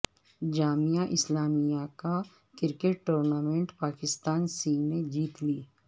جامعہ اسلامیہ کا cricket tournament Pakistan C نے جیت لی